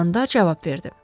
Dalandar cavab verdi.